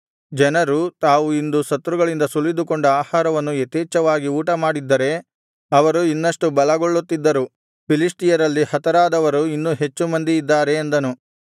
ಜನರು ತಾವು ಇಂದು ಶತ್ರುಗಳಿಂದ ಸುಲಿದುಕೊಂಡ ಆಹಾರವನ್ನು ಯಥೇಚ್ಛವಾಗಿ ಊಟಮಾಡಿದ್ದರೆ ಅವರು ಇನ್ನಷ್ಟು ಬಲಗೊಳ್ಳುತ್ತಿದ್ದರು ಫಿಲಿಷ್ಟಿಯರಲ್ಲಿ ಹತರಾಗದವರು ಇನ್ನೂ ಹೆಚ್ಚು ಮಂದಿ ಇದ್ದಾರೆ ಅಂದನು